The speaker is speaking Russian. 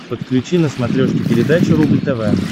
подключи на смотрешке передачу рубль тв